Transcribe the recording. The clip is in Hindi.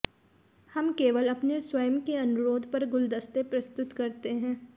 हम केवल अपने स्वयं के अनुरोध पर गुलदस्ते प्रस्तुत करते हैं